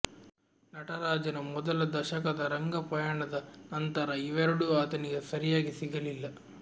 ನಟರಾಜನ ಮೊದಲ ದಶಕದ ರಂಗಪಯಣದ ನಂತರ ಇವೆರಡೂ ಆತನಿಗೆ ಸರಿಯಾಗಿ ಸಿಗಲಿಲ್ಲ